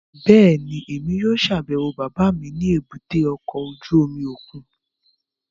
Bẹ́ẹ̀ni, Emi yóò ṣabẹwo baba mi ni èbúté ọkọ ojú omi okun